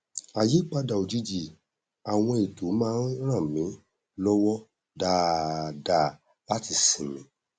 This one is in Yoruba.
àyípadà òjijì àwọn ètò má n ràn mí lọwọ dáadáa láti sinmi